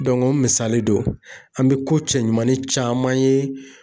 o misali don, an bɛ ko cɛɲumanin caman ye